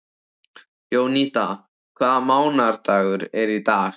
Jónída, hvaða mánaðardagur er í dag?